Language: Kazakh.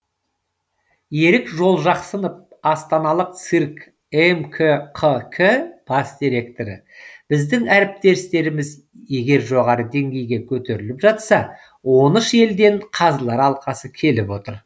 ерік жолжақсынов астаналық цирк мкқк бас директоры біздің әртістеріміз егер жоғары деңгейге көтеріліп жатса он үш елден қазылар алқасы келіп отыр